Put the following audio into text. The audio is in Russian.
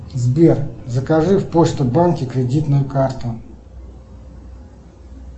сбер закажи в почта банке кредитную карту